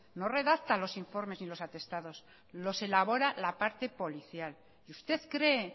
no redacta los informes ni los atestados los elabora la parte policial y usted cree